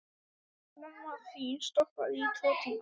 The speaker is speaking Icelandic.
Mamma þín stoppaði í tvo tíma.